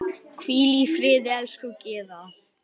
Hvíl í friði, elsku Gyða.